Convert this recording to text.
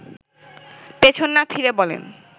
পেছন না ফিরে বলেন